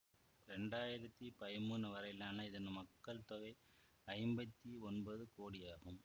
இரண்டாயிரத்தி பதிமூனு வரையிலான இதன் மக்கள் தொகை ஐம்பத்தி ஒன்பது கோடி ஆகும்